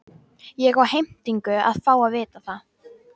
Ég á heimtingu á að fá að vita það.